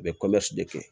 U bɛ de kɛ